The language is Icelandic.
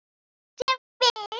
Sem fyrst.